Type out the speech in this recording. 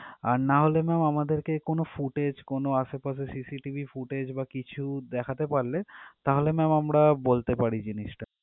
আর নাহলে ma'am আমাদের কে কোনো footage কোনো আশেপাশের CCTV footage বা কিছু দেখাতে পারলে তাহলে ma'am আমরা বলতে পারি জিনিস টা।